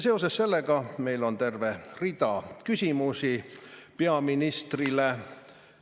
Seoses sellega on meil terve rida küsimusi peaministrile.